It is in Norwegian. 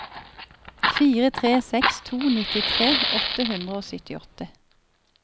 fire tre seks to nittitre åtte hundre og syttiåtte